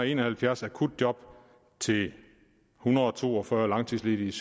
en og halvfjerds akutjob til en hundrede og to og fyrre langtidsledige